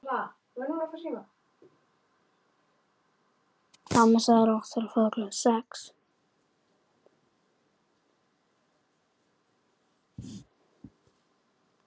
Mamma sagði hún.